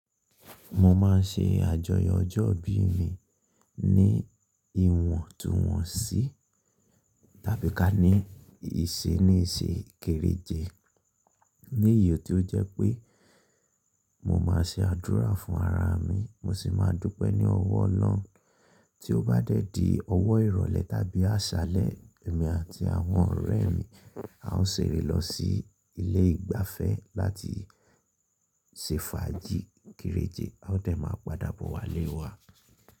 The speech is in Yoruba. Mo máa ń ṣe àjọyọ̀ ọjọ́ ìbí mi ní ìwọ̀ntúnwọ̀nsí tàbí ká ní ìṣenísé kereje. Ní iyẹ̀ tí ó jẹ́ pé mo máa ṣe àdúrà fún ara mi, mo sì máa dúpẹ́ ní ọwọ́ ọlọ́un. Tí ó bá dé di ọwọ́ ìrọ̀lẹ́ tàbí àṣálẹ́, èmi àti àwọn ọ̀rẹ́ mi, a ó ṣeré lọ sí ilé ìgbafẹ́ láti ṣe fàájì kereje. A ó dẹ́ mà padà bọ̀ wá lé wa.